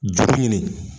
Juru ɲini